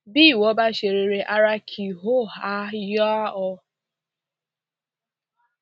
bí ìwọ bá ṣe rere ara kí ó ha yá ọ